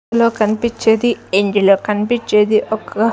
ఇందులో కన్పిచ్చేది ఇందులో కన్పిచ్చేది ఒక--